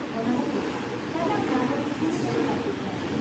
ᱚᱱᱟ ᱞᱟᱹᱜᱤᱫ ᱥᱟᱱᱟᱢ ᱱᱟᱜᱽᱨᱤᱠ ᱠᱩᱨᱩᱢᱩᱴᱩ ᱞᱟᱹᱠᱛᱤᱜ ᱠᱟᱱᱟ ᱾